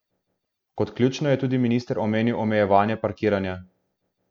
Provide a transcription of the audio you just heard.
Kot ključno je tudi minister omenil omejevanje parkiranja.